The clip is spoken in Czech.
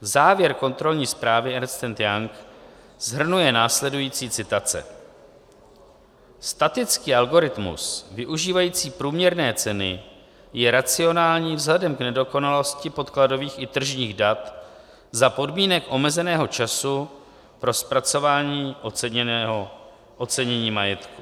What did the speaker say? Závěr kontrolní zprávy Ernst and Young shrnuje následující citace: "Statický algoritmus využívající průměrné ceny je racionální vzhledem k nedokonalosti podkladových i tržních dat za podmínek omezeného času pro zpracování ocenění majetku."